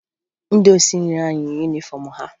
Ndị osinri ahụ yi yunifọmụ ha